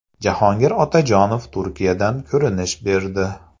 Jahongir Otajonov Turkiyadan ko‘rinish berdi.